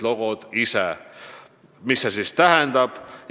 Mis see tähendab?